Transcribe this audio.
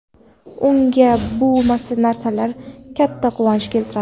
Unga bu narsalar katta quvonch keltiradi.